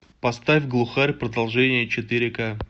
поставь глухарь продолжение четыре ка